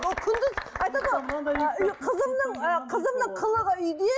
ол күндіз айтады ғой ы қызымның ы қызымның қылығы үйде